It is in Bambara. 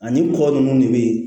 Ani kɔ nunnu de be yen